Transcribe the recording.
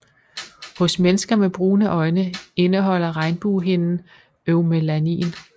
Hos mennesker med brune øjne indeholder regnbuehinden eumelanin